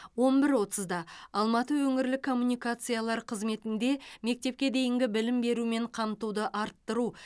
он бір отызда алматы өңірлік коммуникациялар қызметінде мектепке дейінгі білім берумен қамтуды арттыру